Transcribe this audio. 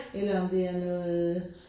Eller om det er noget